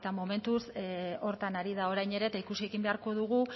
momentuz horretan ari da orain ere eta ikusi egin beharko dugu